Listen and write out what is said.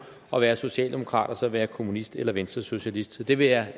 at være socialdemokrat og så at være kommunist eller venstresocialist så det vil jeg